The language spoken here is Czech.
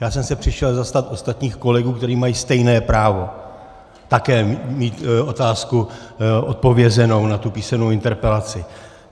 Já jsem se přišel zastat ostatních kolegů, kteří mají stejné právo - také mít otázku odpovězenou na tu písemnou interpelaci.